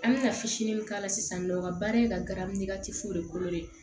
An bɛna fitinin min k'a la sisan nin nɔ o ka baara ye ka garidi de ko de ye